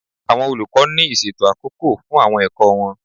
Àwọn olùkọ́ ní ìṣètò àkókò fún àwọn ẹ̀kọ́ wọn.